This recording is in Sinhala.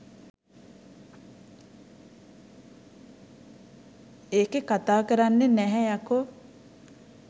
එකේ කතා කරන්නේ නැහැ යකෝ